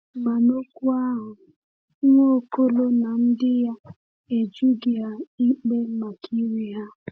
Ma n’okwu ahụ, Nwaokolo na ndị ya e jụghị ha ikpe maka iri ha.